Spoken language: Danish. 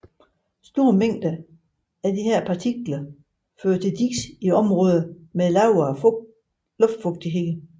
Store mængder af disse partikler fører til dis i områder med lavere luftfugtighed